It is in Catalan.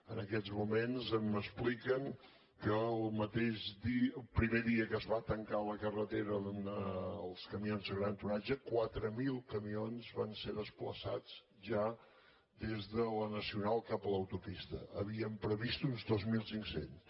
en aquests moments m’expliquen que el primer dia que es va tancar la carretera als camions de gran tonatge quatre mil camions van ser desplaçats ja des de la nacional cap a l’autopista n’havíem previst uns dos mil cinc cents